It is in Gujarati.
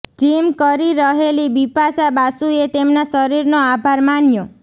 જિમ કરી રહેલી બિપાશા બાસુએ તેમના શરીરનો આભાર માન્યો